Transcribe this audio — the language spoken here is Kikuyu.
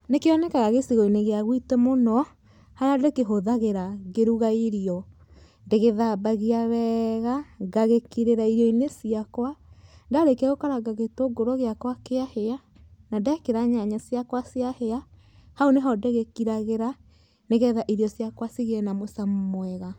Nĩkĩonekaga gĩcigo-inĩ gĩa gũitũ mũno, harĩa ndĩkĩhũthagĩra ngĩruga irio. Ndĩgĩthambagia wega, ngagĩkirĩra irio-inĩ ciakwa, ndarĩkia gũkaranga gĩtũngũrũ gĩakwa kĩahĩa, na ndekĩra nyanya ciakwa ciahĩa, hau nĩho ndĩgĩkiragĩra nĩgetha irio ciakwa cigĩe na mũcamo mwega.